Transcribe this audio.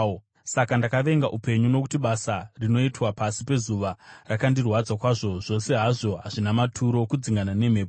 Saka ndakavenga upenyu, nokuti basa rinoitwa pasi pezuva rakandirwadza kwazvo. Zvose hazvo hazvina maturo, kudzingana nemhepo.